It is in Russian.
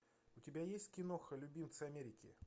у тебя есть киноха любимцы америки